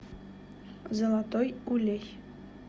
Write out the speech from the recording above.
золотой улей